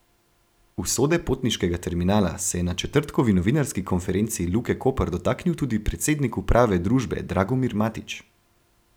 Usode potniškega terminala se je na četrtkovi novinarski konferenci Luke Koper dotaknil tudi predsednik uprave družbe Dragomir Matić.